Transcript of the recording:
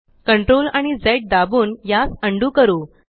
CTRL आणि झ दाबून यास अंडू करू